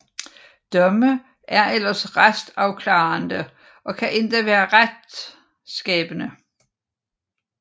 Domme er ellers retsafklarende og kan endda være retsskabende